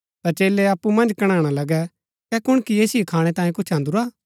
ता चेलै अप्पु मन्ज कणैणा लगै कै कुणकी ऐसिओ खाणै तांयें कुछ अन्दुरा